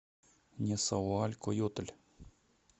несауалькойотль